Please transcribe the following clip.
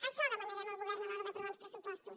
això demanarem al govern a l’hora d’aprovar uns pressupostos